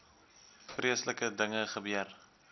vreeslike dinge gebeur